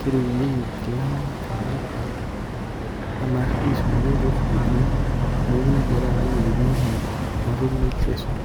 keripunyeki inkilani inamuka oo noshi sirkualinij oo sukulini neeku neija taata ikununo ninche enatoki naji sisal